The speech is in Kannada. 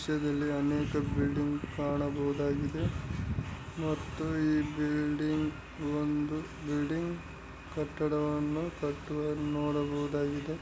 ಈ ದೃಶ್ಯದಲ್ಲಿ ಅನೇಕ ಬಿಲ್ಡಿಂಗ್‌ ಕಾಣಬಹುದಾಗಿದೆ ಮತ್ತು ಈ ಬಿಲ್ಡಿಂಗ್‌ ಒಂದು ಬಿಲ್ಡಿಂಗ್ ಕಟ್ಟಡವನ್ನು ಕಟ್ಟುವನ್ನು ನೋಡಬಹುದಾಗಿದೆ.